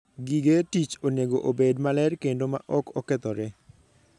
Gige tich onego obed maler kendo ma ok okethore.